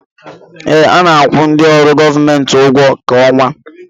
Ee, a na-akwụ ndị ọrụ gọọmenti ụgwọ kwa ọnwa